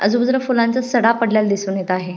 आजुबाजुला फुलांचा सडा पडलेला दिसुन येत आहे.